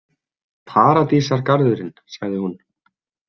Paradísargarðurinn, sagði hún.